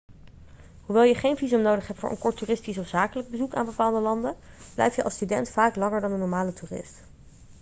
hoewel je geen visum nodig hebt voor een kort toeristisch of zakelijk bezoek aan bepaalde landen blijf je als student vaak langer dan een normale toerist